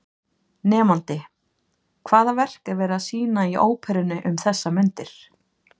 Nemandi: Hvaða verk er verið að sýna í Óperunni um þessar mundir?